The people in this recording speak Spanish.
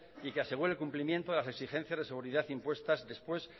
y que asegure el cumplimiento de las exigencias de seguridad impuestas después